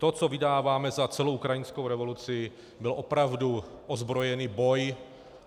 To, co vydáváme za celou ukrajinskou revoluci, byl opravdu ozbrojený boj.